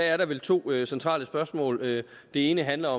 er der vel to centrale spørgsmål det ene handler